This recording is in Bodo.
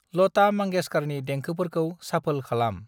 लता मांगेशकारनि देंखो‍फोरखौ साफोल खालाम।